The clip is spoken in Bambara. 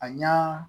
A ɲa